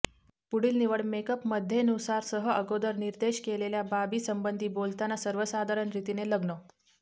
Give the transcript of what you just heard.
पुढील निवड मेकअप मध्ये नुसार सह अगोदर निर्देश केलेल्या बाबीसंबंधी बोलताना सर्वसाधारण रीतीने लग्न